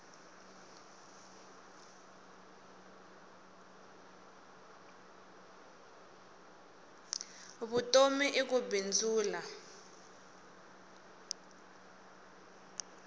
vutomi i ku bindzula